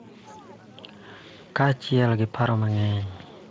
Kaachiel gi paro mang�eny.